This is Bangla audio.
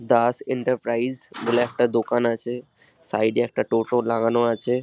দাস এন্টারপ্রাইজ বলে একটা দোকান আছে সাইড এ একটা টোটো দোকান আছে।